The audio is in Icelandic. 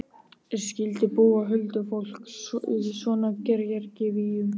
Skyldi búa huldufólk í svona gervigígum?